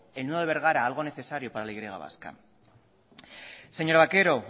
el nudo de bergara algo necesario para la y vasca señora vaquero